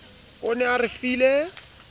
o ne a re file